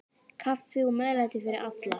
Kaffi og meðlæti fyrir alla.